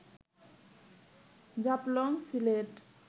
Jaflong Sylhet